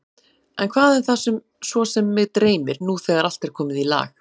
En hvað er það svo sem mig dreymir, nú þegar allt er komið í lag?